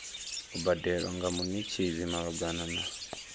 u badelwa nga munetshedzi malugana